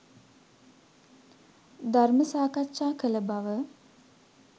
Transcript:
ධර්ම සාකච්ඡා කළ බව